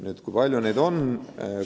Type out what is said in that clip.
Nüüd, kui palju neid inimesi on?